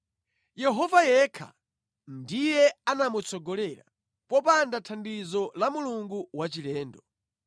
Yehova yekha ndiye anamutsogolera; popanda thandizo la mulungu wachilendo.